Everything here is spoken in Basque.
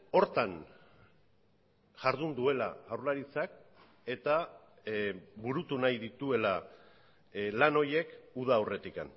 horretan jardun duela jaurlaritzak eta burutu nahi dituela lan horiek uda aurretik